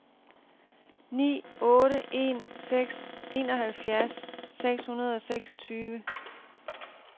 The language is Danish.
ni otte en seks enoghalvfjerds seks hundrede og seksogtyve